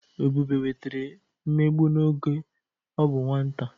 Ebube nwetara mmegbu n'oge ọ bụ nwata.